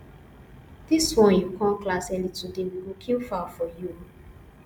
dis wan you come class early today we go kill fowl for you oo